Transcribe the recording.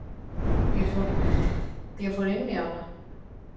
Ég fór inn í hana.